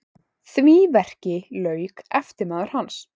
Því verki lauk eftirmaður hans